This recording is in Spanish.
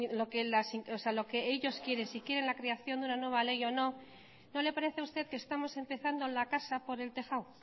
ver lo que ellos quieren si quieren la creación de una nueva ley o no no le parece a usted que estamos empezando la casa por el tejado